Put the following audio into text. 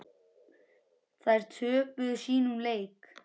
Þær töpuðu sínum leik.